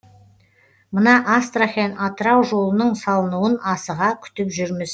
мына астрахань атырау жолының салынуын асыға күтіп жүрміз